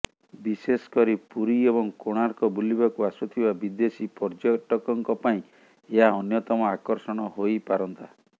ବିଶେଷ କରି ପୁରୀ ଏବଂ କୋଣାର୍କ ବୁଲିବାକୁ ଆସୁଥିବା ବିଦେଶୀ ପର୍ଯ୍ୟଟକଙ୍କ ପାଇଁ ଏହା ଅନ୍ୟତମ ଆକର୍ଷଣ ହୋଇପାରନ୍ତା